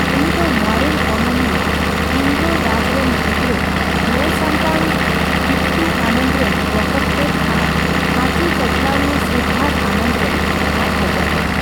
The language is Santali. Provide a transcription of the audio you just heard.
ᱩᱱᱤᱫᱚ ᱢᱟᱨᱮᱱ ᱚᱱᱚᱞᱤᱭᱟᱹ ᱤᱱᱫᱚᱨ ᱨᱟᱡᱽ ᱨᱮᱱ ᱜᱤᱫᱽᱨᱟᱹ, ᱧᱮᱞᱥᱟᱢᱴᱟᱣᱤᱡ ᱵᱤᱴᱴᱩ ᱟᱱᱚᱱᱫᱚ ᱨᱮᱱ ᱵᱚᱠᱚᱛᱛᱮᱫ ᱟᱨ ᱟᱪᱩ ᱪᱟᱪᱞᱟᱣᱤᱣᱟᱹ ᱥᱤᱨᱫᱷᱟᱨᱛᱷᱚ ᱟᱱᱚᱱᱫᱚ ᱨᱮᱱ ᱟᱡ ᱦᱚᱯᱚᱱᱵᱟ ᱾